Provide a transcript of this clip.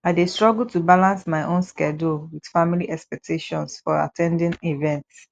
i dey struggle to balance my own schedule with family expectations for at ten ding events